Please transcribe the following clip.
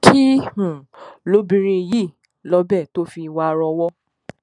kí um lobìnrin yìí lọ́bẹ̀ tó fi wárò ọwọ́